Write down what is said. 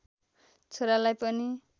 छोरालाई पनि